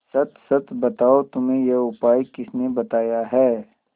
सच सच बताओ तुम्हें यह उपाय किसने बताया है